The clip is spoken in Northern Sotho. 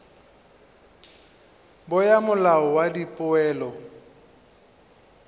bo ya molao wa dipoelo